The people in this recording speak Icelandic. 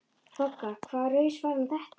BOGGA: Hvaða raus var nú þetta?